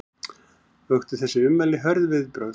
Vöktu þessi ummæli hörð viðbrögð